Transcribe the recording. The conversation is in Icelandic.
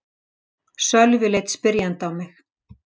Sölvi leit spyrjandi á mig.